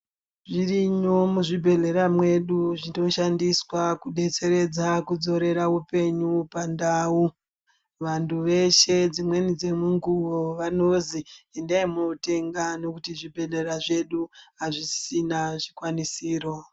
Zvirimwo muzvibhedhera mwedu kunoshandiswa kubetseredza kudzoreredza upenyu pandau. Vantu veshe dzimweni dzemunguvo vanozi endai motenga nekuti zvibhedhlera zvedu hazvisisina zvikwanisiro.